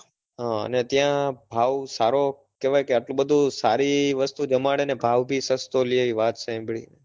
હ અને ત્યાં ભાવ સારો કેવાય કે આટલું બધું સારી વસ્તુ જમાડે ને ભાવ બી સસ્તો લે એવી વાત સાંભળી?